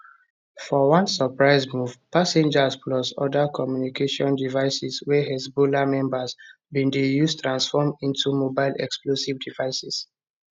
for one surprise move pagers plus oda communication devices wey hezbollah members bin dey use transform into mobile explosive devices